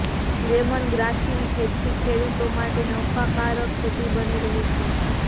લેમનગ્રાસની ખેતી ખેડુતો માટે નફાકારક ખેતી બની રહી છે